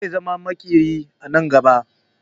Zai zama makeri a nan gaba